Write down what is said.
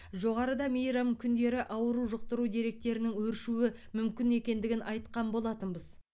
жоғарыда мейрам күндері ауру жұқтыру деректерінің өршуі мүмкін екендігін айтқан болатынбыз